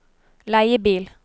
leiebil